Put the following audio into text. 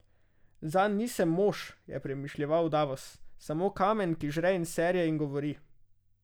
Zanj nisem mož, je premišljeval Davos, samo kamen, ki žre in serje in govori.